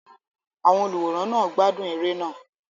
Àwọn olùwòran náà gbádùn eré náà.